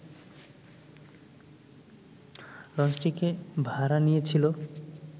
লঞ্চটিকে ভাড়া নিয়েছিল